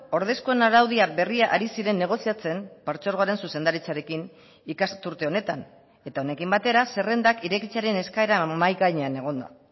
ordezkoen araudia berria ari ziren negoziatzen partzuergoaren zuzendaritzarekin ikasturte honetan eta honekin batera zerrendak irekitzearen eskaera mahai gainean egon da